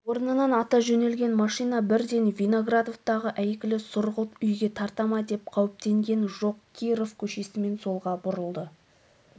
орнынан ата жөнелген машина бірден виноградовтағы әйгілі сұрғылт үйге тарта ма деп қауіптенген жоқ киров көшесімен солға бұрылды